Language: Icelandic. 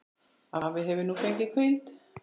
Afi hefur nú fengið hvíld.